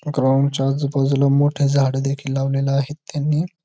ग्राउंडच्या आजूबाजूला मोठे झाड देखील लावलेले आहेत त्यांनी.